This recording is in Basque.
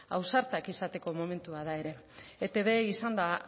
ausartak izateko momentua da ere etb izan da